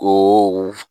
Ko